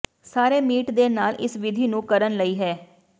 ਸਾਰੇ ਮੀਟ ਦੇ ਨਾਲ ਇਸ ਵਿਧੀ ਨੂੰ ਕਰਨ ਲਈ ਹੈ